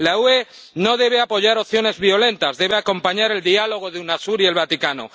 La UE no debe apoyar opciones violentas debe acompañar el diálogo de Unasur y el Vaticano.